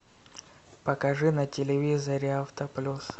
покажи на телевизоре авто плюс